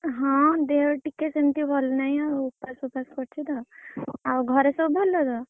ହଁ ଦେହ ଟିକେ ସେମତି ଭଲ ନାହି ଆଉ ଉପାସ ଫୁପାସ୍‌ କରିଛି ତ ଆଉ ଘରେ ସବୁ ଭଲ ତ?